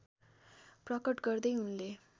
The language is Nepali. प्रकट गर्दै उनले